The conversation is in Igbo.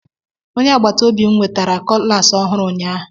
Onye agbata obi m nwetara cutlass ọhụrụ ụnyahụ.